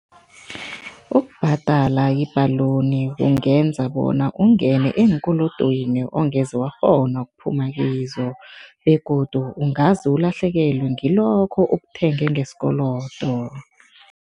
Ukubhadala i-balloon kungenza bona ungene eenkolodweni ongeze wakghona ukuphuma kizo begodu ungaze ulahlekelwe ngilokho okuthenge ngesikolodo.